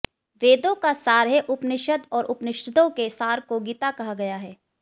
वेदों का सार है उपनिषद और उपनिषदों के सार को गीता कहा गया है